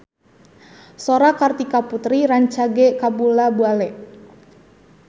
Sora Kartika Putri rancage kabula-bale